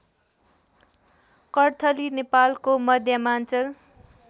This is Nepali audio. कर्थली नेपालको मध्यमाञ्चल